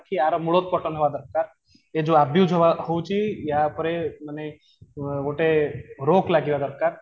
କି ଆର ମୁଳୋତ୍ପାଟନ ହେବା ଦରକାର ୟେ ଯୋଉ abuse ହଉଛି ୟା ଉପରେ ମାନେ ଗୋଟେ ରୋକ ଲାଗିବା ଦରକାର